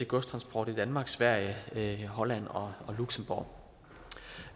godstransport i danmark sverige sverige holland og luxembourg